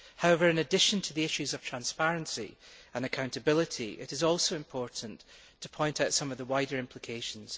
However, in addition to the issues of transparency and accountability, it is also important to point out some of the wider implications.